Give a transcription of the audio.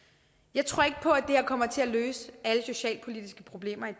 jeg tror ikke på at det her kommer til at løse alle socialpolitiske problemer i